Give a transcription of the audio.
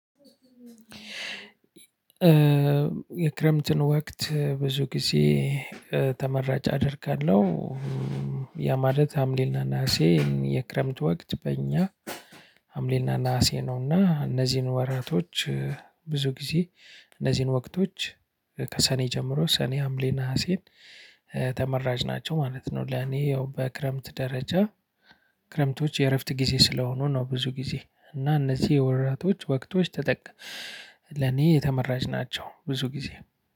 የክረምትን ወቅት ብዙ ጊዜ ተመራጭ አደርጋለሁ። ያ ማለት ሀምሌና ነሀሴን የክረምት ወቅት በእኛ ሀምሌና ነሀሴ ነውና እነዚህን ወራቶች። ብዙ ጊዜ እነዚህን ወቅቶች ከሰኔ ጀምሮ ሰኔ ሀምሌ ነሀሴን ተመራጭ ናቸው ማለት ነው። ለኔ ያው በክረምት ደረጃ ክረምቶች የእረፍት ጊዜ ስለሆኑ ነው። ብዙ ጊዜ እና እነዚህ የወራቶች ወቅቶች ተጠቅ ለኔ ተመራጭ ናቸው። ብዙ ጊዜ